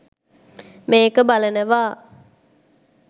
මේක බලනවා